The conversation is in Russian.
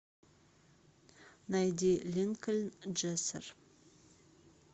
найди линкольн джессер